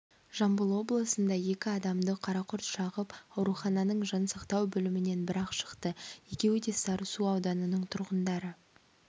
жамбыл облысында екі адамды қарақұрт шағып аурухананың жансақтау бөлімінен бір-ақ шықты екеуі де сарысу ауданының тұрғындары